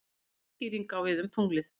Sama skýring á við um tunglið.